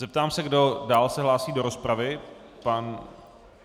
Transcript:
Zeptám se, kdo se dál hlásí do rozpravy.